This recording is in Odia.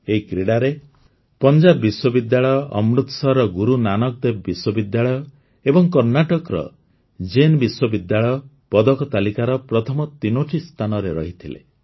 ଏହି କ୍ରୀଡ଼ାରେ ପଞ୍ଜାବ ବିଶ୍ୱବିଦ୍ୟାଳୟ ଅମୃତସରର ଗୁରୁ ନାନକ ଦେବ ବିଶ୍ୱବିଦ୍ୟାଳୟ ଏବଂ କର୍ଣ୍ଣାଟକର ଜୈନ ବିଶ୍ୱବିଦ୍ୟାଳୟ ପଦକ ତାଲିକାର ପ୍ରଥମ ତିନିଟି ସ୍ଥାନରେ ରହିଥିଲେ